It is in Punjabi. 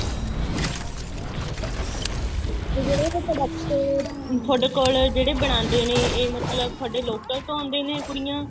ਤੇ ਜਿਹੜੇ ਇਹ product ਤੁਹਾਡੇ ਕੋਲ ਜਿਹੜੇ ਬਣਾਦੇ ਨੇ ਇਹ ਮਤਲਬ ਤੁਹਾਡੇ local ਤੋਂ ਆਂਦੇ ਨੇ ਕੁੜੀਆਂ